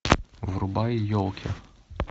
врубай елки